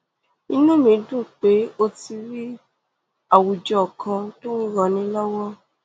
inú mi dùn pé o ti rí àwùjọ kan tó ń ranni lọwọ